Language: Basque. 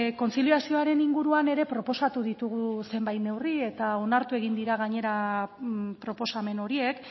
kontziliazioaren inguruan ere proposatu ditugu zenbait neurri eta onartu egin dira gainera proposamen horiek